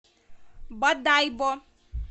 бодайбо